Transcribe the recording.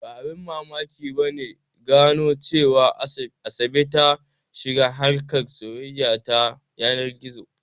Ba abin mamaki ba ne gano cewa Asabe ta shiga harkar soyayya ta yanar gizo.